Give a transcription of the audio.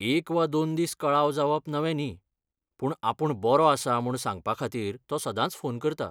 एक वा दोन दीस कळाव जावप नवें न्ही, पूण आपूण बरों आसां म्हूण सांगपाखातीर तो सदांच फोन करता.